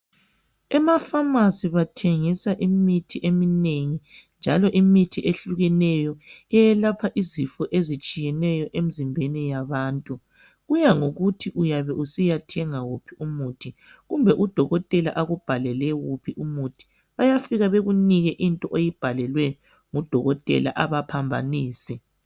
Emafamasi bathengisa imithi eminengi njalo imithi ehlukeneyo eyelapha izifo ezitshiyeneyo emzimbeni yabantu. Kuyangokuthi uyabe usiya thenga wuphi umuthi, kumbe udokotela akubhalele wuphi umuthi bayafika bekunike into oyibhalelwe ngudokotela abaphambanisi.